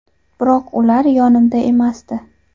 Biroq ular yonimda emasdi.